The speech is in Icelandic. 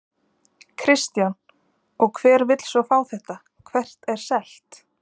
Kristján: Og hver vill svo fá þetta, hvert er selt?